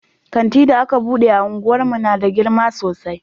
Kanti da aka bude a unguwar mu na da girma sosai